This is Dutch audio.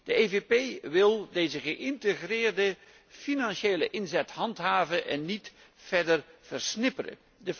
De PPE DE wil deze geïntegreerde financiële aanpak handhaven en niet verder versnipperen.